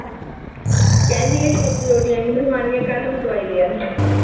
ਕਹਿੰਦੀ, ਕਹਿੰਦੀੌ ਤੇਰੇ ਤੋਂ ਰੋਟੀਆਂ ਨੀਂ ਬਣਵਾਉਣੀਆਂ, ਕੱਲ੍ਹ ਮੈਂ ਦਵਾਈ ਲੈ ਆਈ